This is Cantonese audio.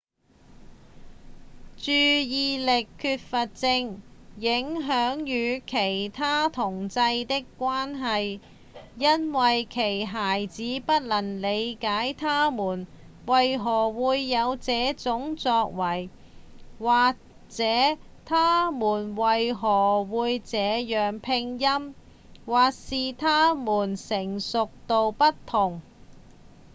注意力缺乏症影響與其他同儕的關係因為其他孩子不能理解他們為何會有這種作為或是他們為何會這樣拼音或是他們的成熟度不同